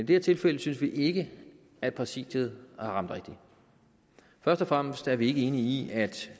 det her tilfælde synes vi ikke at præsidiet har ramt rigtigt først og fremmest er vi ikke enige i